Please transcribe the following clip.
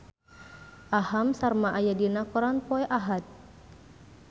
Aham Sharma aya dina koran poe Ahad